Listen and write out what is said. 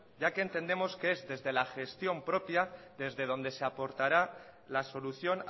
ya que entendemos que es desde la gestión propia desde donde se aportará la solución